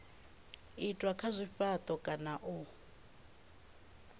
itwa kha zwifhato kana u